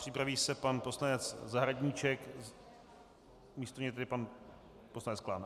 Připraví se pan poslanec Zahradníček, místo něj tedy pan poslanec Klán.